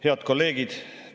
Head kolleegid!